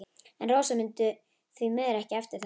En Rósa mundi því miður ekki eftir þessu.